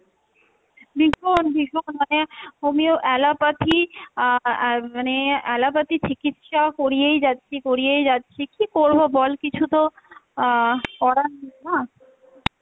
ভীষণ ভীষণ মানে homeo allopathy আহ আর মানে allopathy চিকিৎসা করিয়েই যাচ্ছি, করিয়েই যাচ্ছি, কী করব বল কিছু তো আহ করার নেই না,